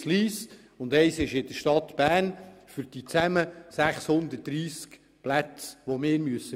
Diese beiden stellen zusammen die 630 Plätze zur Verfügung, die wir anbieten müssen.